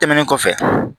Tɛmɛnen kɔfɛ